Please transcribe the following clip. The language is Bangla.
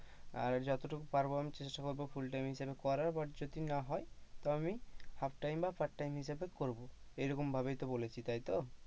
আর যতটুকু পারবো আমি চেষ্টা করব full time হিসাবে করার but যদি না হয় তো আমি half time বা part time হিসেবে করব এরকমই ভাবেই তো বলেছিস তাইতো?